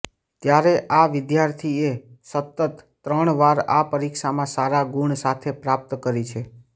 ત્યારે આ વિદ્યાર્થીએ સતત ત્રણ વાર આ પરીક્ષામાં સારા ગુણ સાથે પ્રાપ્ત કરી છે